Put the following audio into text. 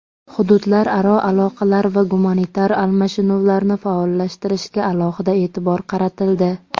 hududlararo aloqalar va gumanitar almashinuvlarni faollashtirishga alohida e’tibor qaratildi.